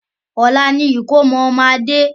Ọlá ni ìkómọ ọmọ Adé